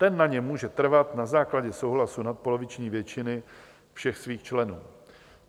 Ten na něm může trvat na základě souhlasu nadpoloviční většiny všech svých členů.